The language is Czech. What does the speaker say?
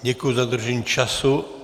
Děkuji za dodržení času.